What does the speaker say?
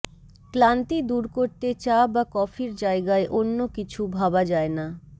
ক্লান্তি দূর করতে চা বা কফির জায়গায় অন্য কিছু ভাবা যায় না